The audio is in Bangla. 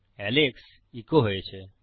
এলেক্স ইকো হয়েছে